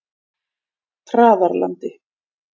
Traðarlandi